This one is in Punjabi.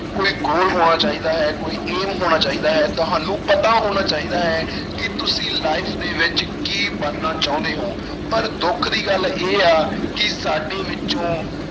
ਕੋਈ goal ਹੋਣਾ ਚਾਹੀਦਾ ਹੈ, ਕੋਈ aim ਹੋਣਾ ਚਾਹੀਦਾ ਹੈ ਤੁਹਾਨੂੰ ਪਤਾ ਹੋਣਾ ਚਾਹੀਦਾ ਹੈ ਕਿ ਤੁਸੀਂ life ਦੇ ਵਿੱਚ ਕੀ ਬਣਨਾ ਚਾਹੁੰਦੇ ਹੋ ਪਰ ਦੁੱਖ ਦੀ ਗੱਲ ਇਹ ਆ ਕਿ ਸਾਡੇ ਵਿੱਚੋਂ